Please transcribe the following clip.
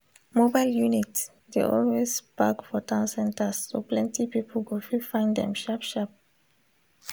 mobile units dey always park for town centers so plenty people go fit find them sharp sharp